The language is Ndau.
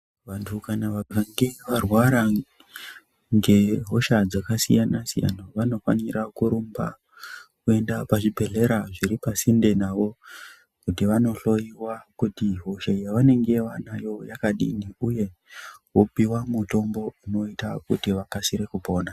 Vantu kana vakange varwara ngehosha dzakasiyana siyana vanofanira kurumba kuenda pazvibhedhlera zviri pasinte navo kuti vanohloyiwa kuti hosha yavanenge vanayo yakadii uye vopiwa mutombo unoita kuti vakasire kupona.